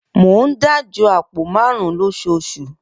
Mo ń dájọ àpò marun-un lóṣooṣù